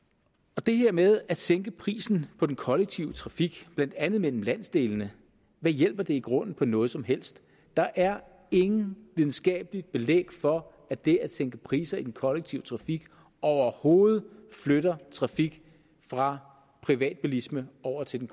det her med at sænke prisen på den kollektive trafik blandt andet mellem landsdelene hvad hjælper det i grunden på noget som helst der er intet videnskabeligt belæg for at det at sænke priser i kollektiv trafik overhovedet flytter trafik fra privatbilisme over til